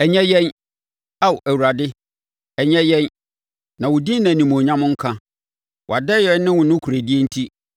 Ɛnyɛ yɛn, Ao Awurade, ɛnyɛ yɛn na wo din na animuonyam nka, wʼadɔeɛ ne wo nokorɛdie enti.